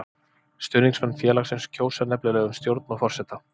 Stuðningsmenn félagsins kjósa nefnilega um stjórn og forseta.